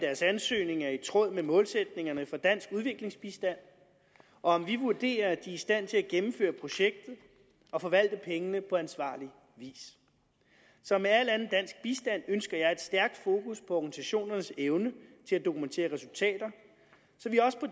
deres ansøgning er i tråd med målsætningerne for dansk udviklingsbistand og om vi vurderer er i stand til at gennemføre projektet og forvalte pengene på ansvarlig vis som med al anden dansk bistand ønsker jeg et stærkt fokus på organisationernes evne til at dokumentere resultater så vi også på